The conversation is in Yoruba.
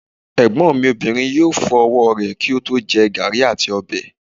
Egbon mi Obinrin yoo fo ọwọ rẹ ki o to jẹ garri ati ọbẹ